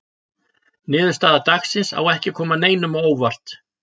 Niðurstaða dagsins á ekki að koma neinum á óvart.